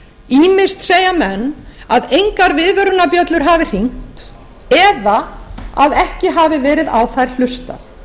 ýmist segja menn að engar viðvörunarbjöllur hafi hringt eða að ekki hafi verið á þær hlustað